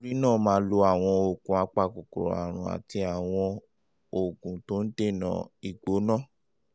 nítorí náà máa lo àwọn oògùn apakòkòrò àrùn àti àwọn oògùn tó ń ń dènà ìgbóná